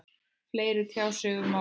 Fleiri tjá sig um málið